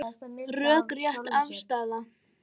Rökrétt afstaða